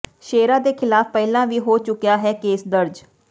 ਸ਼ੇਰਾ ਦੇ ਖਿਲਾਫ ਪਹਿਲਾਂ ਵੀ ਹੋ ਚੁੱਕਿਆ ਹੈ ਕੇਸ ਦਰਜ਼